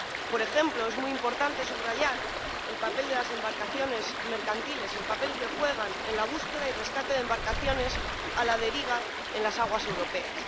Por ejemplo, es muy importante subrayar el papel de las embarcaciones mercantiles, el papel que juegan en la búsqueda y rescate de embarcaciones a la deriva en las aguas europeas.